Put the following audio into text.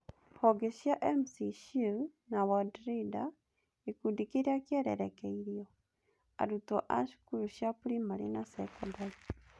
Honge cia M-Schule na Worldreader Gĩkundi kĩrĩa kĩererekeirio: Arutwo a cukuru cia Primary na Secondary